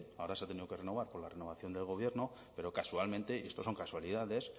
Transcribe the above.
ahora se ha tenido que renovar por la renovación del gobierno pero casualmente y esto son casualidades